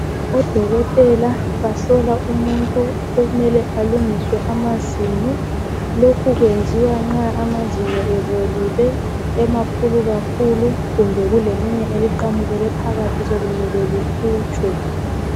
Odokotela bahlola umuntu okumele alungiswe amazinyo. Lokhu kwenziwa nxa amazinyo ebolile, emakhulu kakhulu kumbe kulelinye eliqamukele phakathi sokumele likhutshwe.